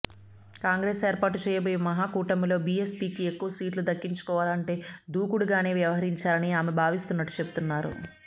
కాంగ్రెస్ ఏర్పాటు చేయబోయే మహాకూటమిలో బీఎస్పీకి ఎక్కువ సీట్లు దక్కించుకోవాలంటే దూకుడుగానే వ్యవహరించాలని ఆమె భావిస్తున్నట్టు చెబుతున్నారు